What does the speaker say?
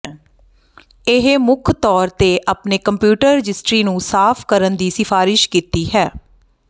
ਇਹ ਮੁੱਖ ਤੌਰ ਤੇ ਆਪਣੇ ਕੰਪਿਊਟਰ ਰਜਿਸਟਰੀ ਨੂੰ ਸਾਫ਼ ਕਰਨ ਦੀ ਸਿਫਾਰਸ਼ ਕੀਤੀ ਹੈ